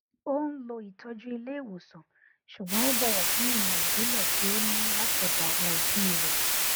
ó n lo ìtọjú ilé ìwòsàn ṣùgbọn ó bọwọ fún ìmọ ìbílẹ tí ó ní láti ọdọ àwọn òbí rẹ